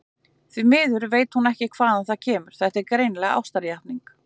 Því miður veit hún ekki hvaðan það kemur, en þetta er greinilega ástarjátning.